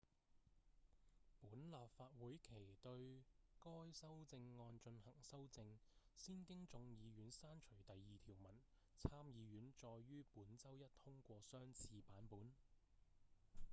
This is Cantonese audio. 本立法會期對該修正案進行修正先經眾議院刪除第二條文參議院再於本周一通過相似版本